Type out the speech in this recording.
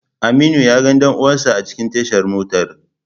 Aminu yaga dan uwansa a cikin tashar motar